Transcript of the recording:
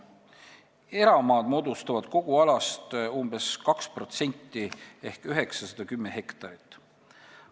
Eramaad moodustavad kogu alast umbes 2% ehk 910 hektarit.